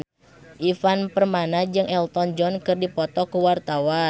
Ivan Permana jeung Elton John keur dipoto ku wartawan